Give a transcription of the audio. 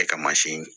E ka mansin